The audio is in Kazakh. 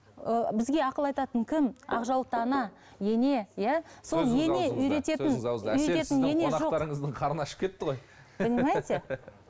ы бізге ақыл айтатын кім ақ жаулықты ана ене иә